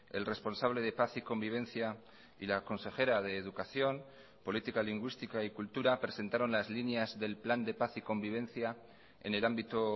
el responsable de paz y convivencia y la consejera de educación política lingüística y cultura presentaron las líneas del plan de paz y convivencia en el ámbito